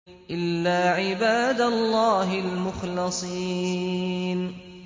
إِلَّا عِبَادَ اللَّهِ الْمُخْلَصِينَ